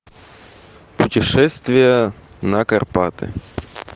путешествие на карпаты